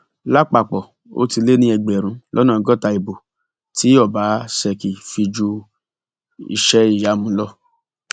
lápapọ ó ti lé ní ẹgbẹrún lọnà ọgọta ìbò tí ọbaṣẹkì fi ju iṣẹ ìyàmu lọ